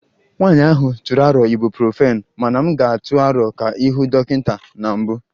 Nwanyị ahụ tụrụ aro Ibuprofen mana m ga-atụ aro ka ị hụ dọkịta na mbụ